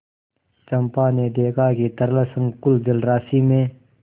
चंपा ने देखा कि तरल संकुल जलराशि में